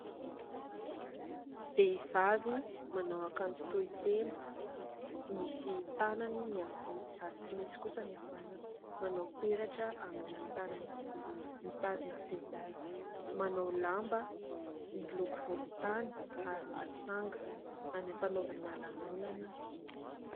Vehivavy manao akanjo tohitena, misy tanany ny havia ary tsy misy kosa ny havanana, manao peratra amin'ny tanana havia, mitazona finday, manao lamba miloko volontany ary misy sanga. Any ampanaovana lanonana izy.